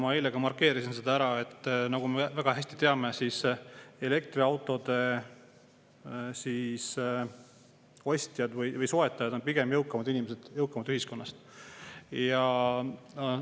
Ma ka eile markeerisin selle ära, et me teame väga hästi, et elektriauto soetavad pigem jõukamad inimesed, jõukam ühiskonnast.